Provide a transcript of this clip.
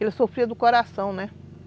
Ele sofria do coração, né?